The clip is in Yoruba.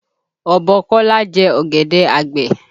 Ọ̀bọ Kọ́lá jẹ ọ̀gẹ̀dẹ̀ àgbẹ̀